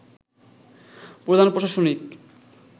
প্রধান প্রশাসনিক